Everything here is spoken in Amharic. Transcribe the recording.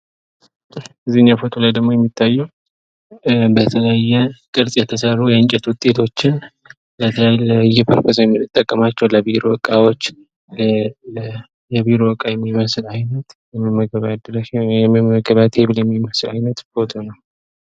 ከዚኛው ፎቶ ላይ ደግሞ የሚታየው በተለያዩ ቅርጽ የተሰሩ የእንጨት ዉጤቶችን ለተለያየ ፐርፐዝ የምንጠቀማቸው ለቢሮ እቃዎች የቢሮ እቃ የሚመስል አይነት የመመገቢያ አይነት የሚመስል ፎቶ ነው።